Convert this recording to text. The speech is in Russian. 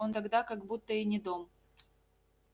он тогда как будто и не дом